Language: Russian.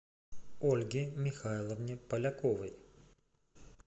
ольге михайловне поляковой